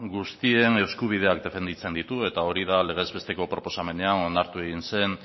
guztien eskubideak defenditzen ditu eta hori da legez besteko proposamenean onartu egin zen